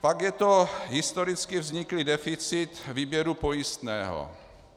Pak je to historicky vzniklý deficit výběru pojistného.